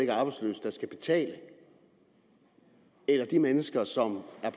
er arbejdsløse der skal betale eller de mennesker som er